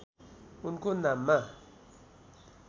उनको नाममा